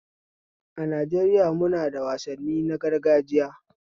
A Najaeriya munada wasanni na gargajiya